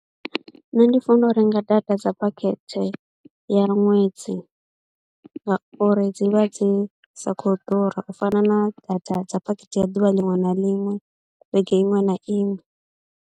Nṋe ndi funa u renga data dza phakhethe ya ṅwedzi ngauri dzi vha dzi sa khou ḓura u fana na data dza phakhethe ya ḓuvha liṅwe na liṅwe vhege iṅwe na iṅwe.